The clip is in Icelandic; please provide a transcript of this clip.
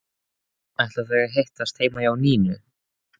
Ætla þau að hittast heima hjá Nínu?